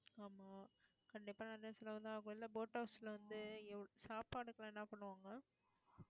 ஆமா கண்டிப்பா நிறைய செலவுதான் ஆகும் இல்லை boat house ல வந்து சாப்பாட்டுக்குலாம் என்ன பண்ணுவாங்க